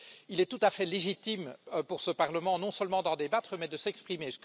Il est tout à fait légitime pour ce Parlement non seulement d'en débattre, mais de s'exprimer.